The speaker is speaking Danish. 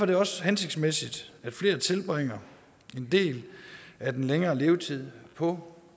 det også hensigtsmæssigt at flere tilbringer en del af den længere levetid på